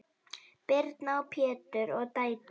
Birna, Pétur og dætur.